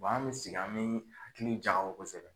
an mi sigi an mi hakili jakabɔ kosɛbɛ